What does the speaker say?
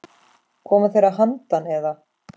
Koma þeir að handan, eða?